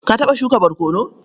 Ka taɓa shuka barkono?